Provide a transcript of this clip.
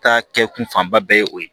Ta kɛ kun fanba bɛɛ ye o ye